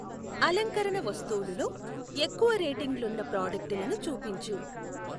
అలంకరణ వస్తువులు లో ఎక్కువ రేటింగులున్న ప్రాడక్టులను చూపించు.